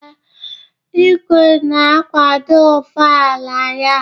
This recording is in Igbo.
Ee, igwe na-akwado ofala ya.